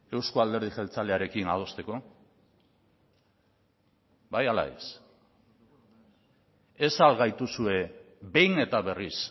euzko alderdi jeltzalearekin adosteko bai ala ez ez al gaituzue behin eta berriz